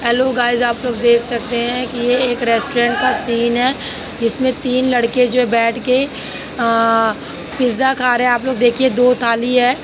Hello guys आप लोग देख सकते है कि यह एक रेस्टोरेंट का सीन है। जिसमें तीन लड़के जो बैठ के आ पिज़्ज़ा खा रहे हैं। आप लोग देखिए दो थाली है।